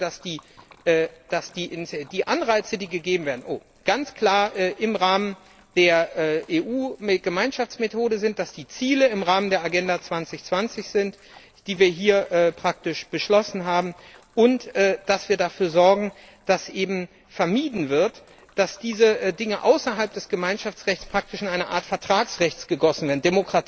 Wir möchten, dass die Anreize, die gegeben werden, ganz klar im Rahmen der EU Gemeinschaftsmethode sind, dass die Ziele im Rahmen der Agenda 2020 sind, die wir hier praktisch beschlossen haben, und dass wir dafür sorgen, dass vermieden wird, dass diese Dinge außerhalb des Gemeinschaftsrechts praktisch in eine Art Vertragsrecht gegossen werden.